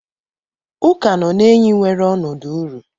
Uka nọ na enyi nwere ọnọdụ uru.